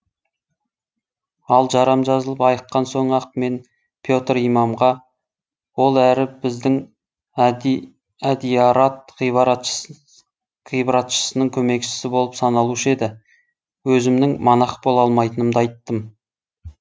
ал жарам жазылып айыққан соң ақ мен петр имамға ол әрі біздің әдиярат ғибратшысының көмекшісі болып саналушы еді өзімнің монах бола алмайтынымды айттым